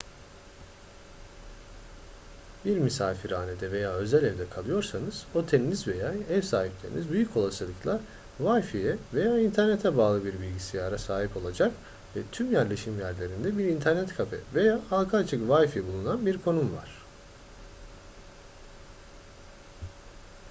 bir misafirhanede veya özel evde kalıyorsanız oteliniz veya ev sahipleriniz büyük olasılıkla wifi'ye veya internete bağlı bir bilgisayara sahip olacak ve tüm yerleşim yerlerinde bir internet kafe veya halka açık wifi bulunan bir konum var